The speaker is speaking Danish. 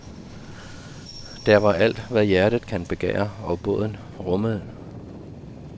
Der var alt, hvad hjertet kan begære og båden rumme.